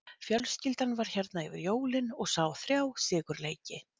Fjölskyldan var hérna yfir jólin og sá þrjá sigurleiki.